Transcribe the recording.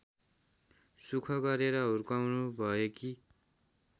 सुख गरेर हुर्काउनुभएकी